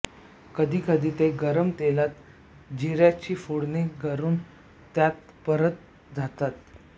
कधी कधी ते गरम तेलात जिऱ्याची फोडणी करून त्यात परतले जातात